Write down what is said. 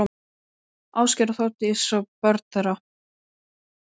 Ásgeir og Þórdísi og börn þeirra.